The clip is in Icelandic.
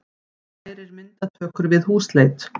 Kærir myndatökur við húsleit